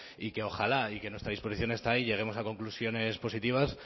y que ojalá y que nuestra disposición está ahí lleguemos a conclusiones positivas